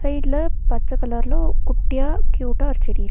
சைடுல பச்ச கலர்ல குட்டியா க்யூட்டா ஒரு செடி இருக்--